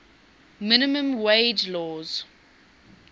minimum wage laws